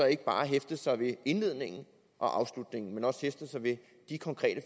ikke bare hæfte sig ved indledningen og afslutningen men også hæfte sig ved de konkrete